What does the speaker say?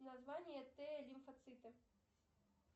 название т лимфоциты